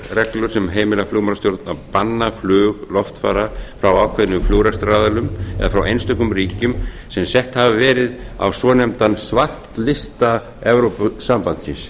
reglur sem heimila flugmálastjórn að banna flug loftfara frá ákveðnum flugrekstraraðilum en frá einstökum ríkjum sem sett hafa verið á svonefndan svartlista evrópusambandsins